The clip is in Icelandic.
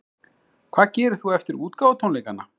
Hvað gerir þú eftir útgáfutónleikana?